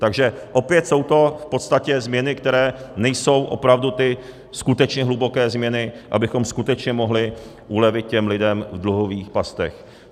Takže opět jsou to v podstatě změny, které nejsou opravdu ty skutečně hluboké změny, abychom skutečně mohli ulevit těm lidem v dluhových pastech.